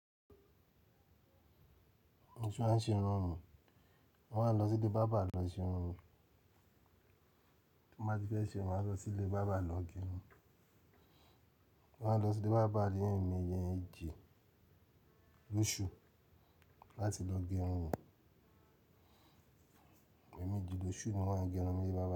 Mo se a ṣe irun mi, mo máà nlọ síle bàbá lọ ṣe irun mi. Bí mo bá ti fẹ́ ṣe un, maá lọ sí ilé bàbá lọ gẹ irun. Mo ma n lọ síle bàbá leemeeji, lóṣù láti lọ gẹ irun mi. Ẹ̀mejilóṣù ni mọ́n á gẹ irun mi níle ibàbá.